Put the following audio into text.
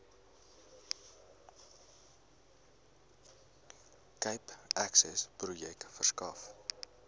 cape accessprojek verskaf